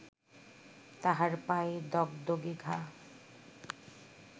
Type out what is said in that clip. তাহার পায়ে দগদগে ঘা